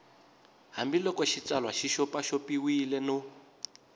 hambiloko xitsalwana xi xopaxopiwile no